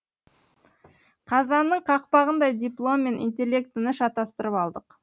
қазанның қақпағындай диплом мен интеллектіні шатастырып алдық